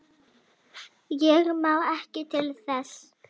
Ég man ekki til þess.